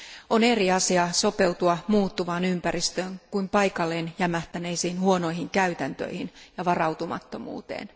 On eri asia sopeutua muuttuvaan ympäristöön kuin paikalleen jämähtäneisiin huonoihin käytäntöihin ja varautumattomuuteen.